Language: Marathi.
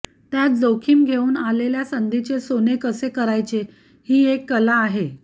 त्यात जोखीम घेऊन आलेल्या संधीचे सोने कसे करायचे ही एक कला आहे